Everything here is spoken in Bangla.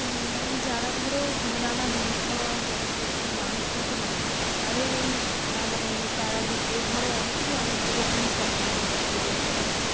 উম মানে যারা ধরো দিন আনা দিন খাওয়া মানে এইরকম মানুষ থাকে না? তাদের এই মানে তারা যে ধরো অনেকেরই অনেক রকমের স্বপ্ন থাকে যে ধরো